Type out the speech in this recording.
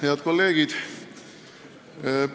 Head kolleegid!